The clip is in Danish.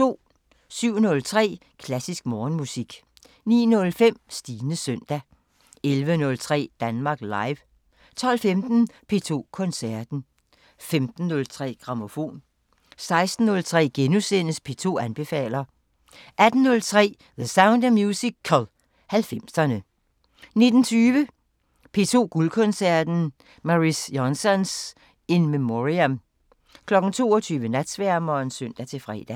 07:03: Klassisk Morgenmusik 09:05: Stines søndag 11:03: Danmark Live 12:15: P2 Koncerten 15:03: Grammofon 16:03: P2 anbefaler * 18:03: The Sound of Musical: 90'erne 19:20: P2 Guldkoncerten: Mariss Jansons – in memoriam 22:00: Natsværmeren (søn-fre)